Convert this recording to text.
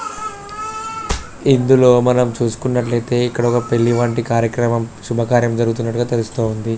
ఇందులో మనం చూసుకున్నట్లైతే ఒక పెళ్లి వంటి కార్యాక్రమం శుభకార్యం జరుగుతున్నట్టు తెలుస్తుంది